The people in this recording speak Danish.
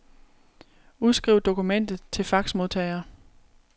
Udskriv dokumentet til faxmodtager.